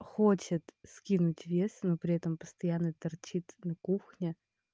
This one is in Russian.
хочет скинуть вес но при этом постоянно торчит на кухне